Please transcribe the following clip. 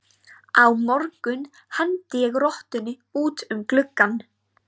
Á morgun hendi ég rottunni út um gluggann.